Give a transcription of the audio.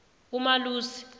umalusi